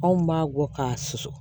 Anw b'a bɔ k'a susu